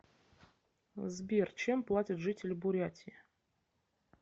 сбер чем платят жители бурятии